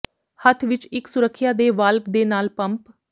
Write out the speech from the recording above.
ਹੱਥ ਵਿੱਚ ਇੱਕ ਸੁਰੱਖਿਆ ਦੇ ਵਾਲਵ ਦੇ ਨਾਲ ਪੰਪ